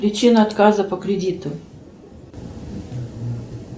причина отказа по кредиту